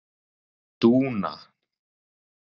Dúna